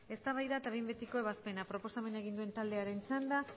eztabaida eta behin betiko ebazpena proposamena egin duen taldearen txanda